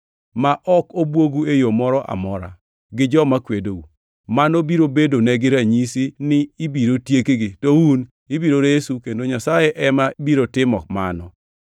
ma ok obwogu e yo moro amora, gi joma kwedou. Mano biro bedonegi ranyisi ni ibiro tiekgi, to un ibiro resu kendo Nyasaye ema biro timo mano.